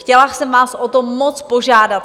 Chtěla jsem vás o to moc požádat.